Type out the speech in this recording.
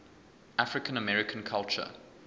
african american culture